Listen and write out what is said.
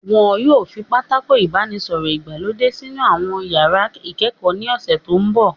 Wọn yóò fi Pátákó ìbánisọ̀rọ̀ ìgbàlódé sínú àwọn iyàrá ìkẹ́kọ̀ọ́ ní ọ̀sẹ̀ tó mbọ̀